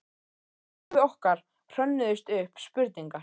Í lífi okkar hrönnuðust upp spurningar.